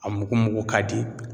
A mugumugu ka di